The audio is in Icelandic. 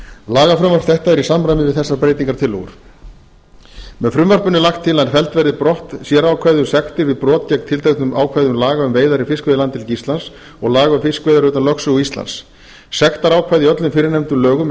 lagafrumvarp þetta er í samræmi við þessar breytingartillögur með frumvarpinu er lagt til að felld verði brott sérákvæði um sektir við brot gegn tilteknum ákvæðum laga um veiðar í fiskveiðilandhelgi íslands og laga um fiskveiðar utan lögsögu íslands sektarákvæði í öllum fyrrnefndum lögum er